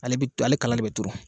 Ale be ale kala de be turu